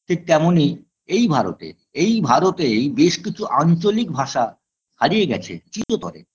ঠিক তেমনই এই ভারতের এই ভারতেই বেশ কিছু আঞ্চলিক ভাষা হারিয়ে গেছে চিরতরে